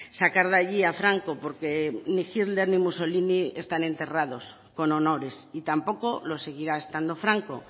sacar de allí a franco porque ni hitler ni mussolini están enterrados con honores y tampoco lo seguirá estando franco